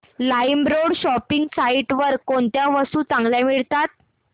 LimeRoad shopping site वर कोणत्या वस्तू चांगल्या मिळतात